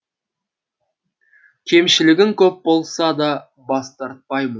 кемшілігің көп болса да бас тартпаймын